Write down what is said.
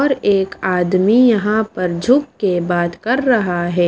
और एक आदमी यहां पर झुक के बात कर रहा है।